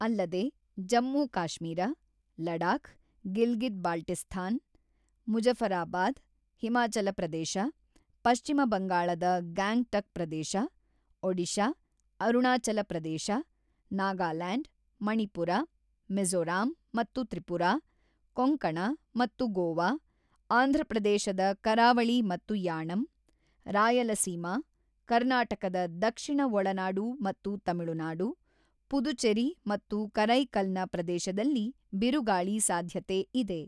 ಅಲ್ಲದೆ ಜಮ್ಮುಕಾಶ್ಮೀರ, ಲಡಾಖ್, ಗಿಲ್ಗಿತ್ ಬಾಲ್ಟಿಸ್ತಾನ್, ಮುಜಫರಾಬಾದ್, ಹಿಮಾಚಲಪ್ರದೇಶ, ಪಶ್ಚಿಮ ಬಂಗಾಳದ ಗ್ಯಾಂಗ್ ಟಕ್ ಪ್ರದೇಶ, ಒಡಿಶಾ, ಅರುಣಾಚಲಪ್ರದೇಶ, ನಾಗಾಲ್ಯಾಂಡ್, ಮಣಿಪುರ, ಮಿಝೋರಾಂ ಮತ್ತು ತ್ರಿಪುರಾ, ಕೊಂಕಣ ಮತ್ತು ಗೋವಾ, ಆಂಧ್ರಪ್ರದೇಶದ ಕರಾವಳಿ ಮತ್ತು ಯಾಣಂ, ರಾಯಲಸೀಮಾ, ಕರ್ನಾಟಕದ ದಕ್ಷಿಣ ಒಳನಾಡು ಮತ್ತು ತಮಿಳುನಾಡು, ಪುದುಚೆರಿ ಮತ್ತು ಕರೈಕಲ್ ನ ಪ್ರದೇಶದಲ್ಲಿ ಬಿರುಗಾಳಿ ಸಾಧ್ಯತೆ ಇದೆ.